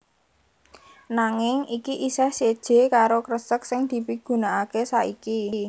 Nanging iki isih séjé karo kresek sing dipigunakaké saiki